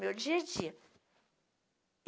Meu dia a dia.